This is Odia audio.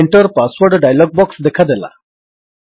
Enter ପାସୱର୍ଡ ଡାୟଲଗ୍ ବକ୍ସ ଦେଖାଦେଲା